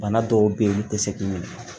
Bana dɔw be ye olu te se k'i weele